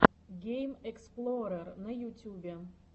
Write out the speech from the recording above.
геймэксплорер на ютюбе